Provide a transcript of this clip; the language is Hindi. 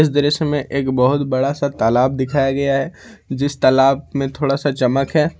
इस दृश्य में एक बहोत बड़ा सा तालाब दिखाया गया है जिस तालाब में थोड़ा सा चमक है।